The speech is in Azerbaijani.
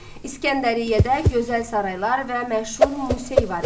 İsgəndəriyyədə gözəl saraylar və məşhur Musey var idi.